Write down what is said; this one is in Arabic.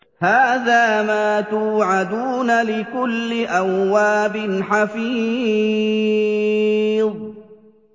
هَٰذَا مَا تُوعَدُونَ لِكُلِّ أَوَّابٍ حَفِيظٍ